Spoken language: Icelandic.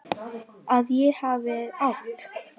Að ég hafi átt.?